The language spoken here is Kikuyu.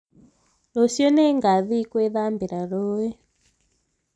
Rũciũ nĩngathiĩ gwĩthambira rũĩ